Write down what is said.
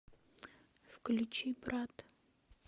включи брат